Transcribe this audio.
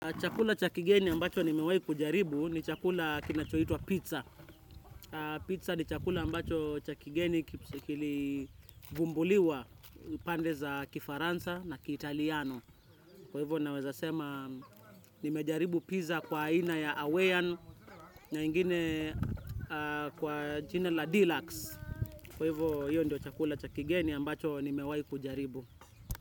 Chakula cha kigeni ambacho nimewayi kujaribu ni chakula kinachoitwa pizza. Pizza ni chakula ambacho cha kigeni kili gumbuliwa pande za kifaransa na kiitaliano. Kwa hivyo naweza sema nimejaribu pizza kwa aina ya awayan na ingine kwa jina la deluxe. Kwa hivyo hiyo ndio chakula cha kigeni ambacho nimewayi kujaribu.